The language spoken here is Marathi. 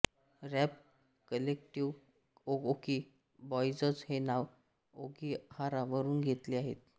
रॅप कलेक्टिव ओओकी बॉईजज हे नाव ओकीगहारा वरुन घेलेत आहे